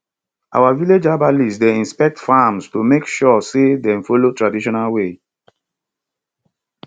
our village herbalist dey inspect farms to make sure say dem follow traditional way